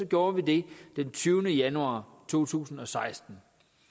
gjorde vi det den tyvende januar to tusind og seksten